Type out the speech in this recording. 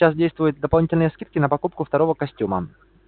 сейчас действуют дополнительные скидки на покупку второго костюма